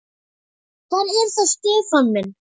Hver er það Stefán minn?